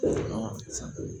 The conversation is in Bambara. San